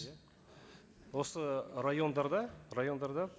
иә осы райондарда райондарда